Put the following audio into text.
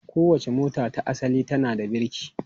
Kowace mota ta asali tana da birki.